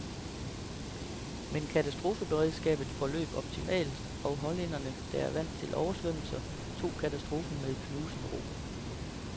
Men katastrofeberedskabet forløb optimalt, og hollænderne, der er vant til oversvømmelser, tog katastrofen med knusende ro.